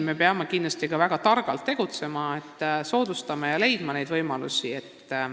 Me peame siin kindlasti väga targalt tegutsema, neid võimalusi soodustama ja leidma.